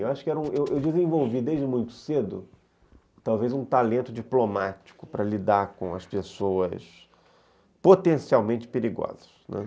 Eu acho que era, eu desenvolvi desde muito cedo talvez um talento diplomático para lidar com as pessoas potencialmente perigosas, né.